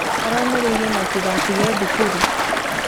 Aramomĩrĩirie matigatige thukuru